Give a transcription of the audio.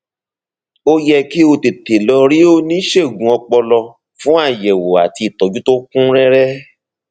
ó yẹ kí o tètè lọ rí oníṣègùn ọpọlọ fún àyẹwò àti ìtọjú tó kún rẹrẹ